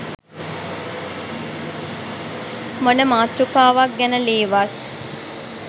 මොන මාතෘකාවක් ගැන ලීවත්